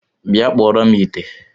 Bịa kpụọrọ m ite!